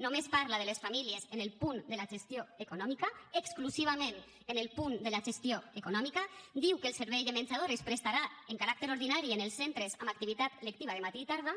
només parla de les famílies en el punt de la gestió econòmica exclusivament en el punt de la gestió econòmica diu que el servei de menjador es prestarà amb caràcter ordinari en els centres amb activitat lectiva de matí i tarda